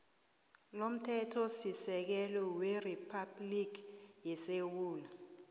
lomthethosisekelo weriphabhligi yesewula